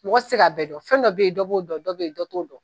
Mɔgɔ ti se ka bɛɛ dɔn, fɛn dɔ be yen, dɔ b'o dɔn, dɔ be yen, dɔ t'o dɔn.